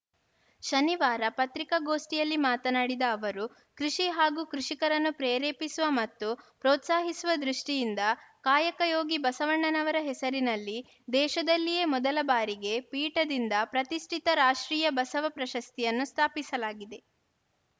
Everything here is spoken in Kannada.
ಶನಿವಾರ ಪತ್ರಿಕಾಗೋಷ್ಠಿಯಲ್ಲಿ ಮಾತನಾಡಿದ ಅವರು ಕೃಷಿ ಹಾಗೂ ಕೃಷಿಕರನ್ನು ಪ್ರೇರೇಪಿಸುವ ಮತ್ತು ಪ್ರೋತ್ಸಾಹಿಸುವ ದೃಷ್ಟಿಯಿಂದ ಕಾಯಕ ಯೋಗಿ ಬಸವಣ್ಣನವರ ಹೆಸರಿನಲ್ಲಿ ದೇಶದಲ್ಲಿಯೇ ಮೊದಲ ಬಾರಿಗೆ ಪೀಠದಿಂದ ಪ್ರತಿಷ್ಠಿತ ರಾಷ್ಟ್ರೀಯ ಬಸವ ಪ್ರಶಸ್ತಿಯನ್ನು ಸ್ಥಾಪಿಸಲಾಗಿದೆ